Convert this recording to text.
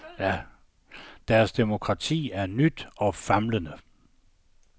Deres demokrati er nyt og famlende.